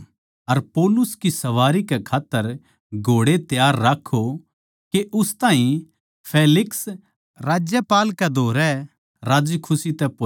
अर पौलुस की सवारी कै खात्तर घोड़े त्यार राक्खो के उस ताहीं फेलिक्स राज्यपाल कै धोरै राज्जीखुशी तै पोहोचा दे